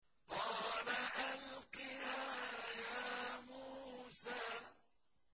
قَالَ أَلْقِهَا يَا مُوسَىٰ